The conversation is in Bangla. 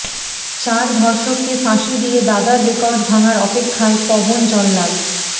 চার ধর্ষককে ফাঁসি দিয়ে দাদার রেকর্ড ভাঙার অপেক্ষায় পবন জল্লাদ